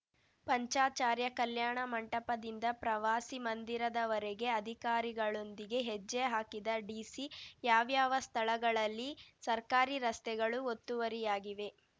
ಪಂಚಾಚಾರ್ಯ ಕಲ್ಯಾಣ ಮಂಟಪದಿಂದ ಪ್ರವಾಸಿ ಮಂದಿರದವರೆಗೆ ಅಧಿಕಾರಿಗಳೊಂದಿಗೆ ಹೆಜ್ಜೆ ಹಾಕಿದ ಡಿಸಿ ಯಾವ್ಯಾವ ಸ್ಥಳಗಳಲ್ಲಿ ಸರ್ಕಾರಿ ರಸ್ತೆಗಳು ಒತ್ತುವರಿಯಾಗಿವೆ